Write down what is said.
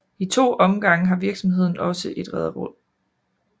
I to omgange var virksomheden også et rederi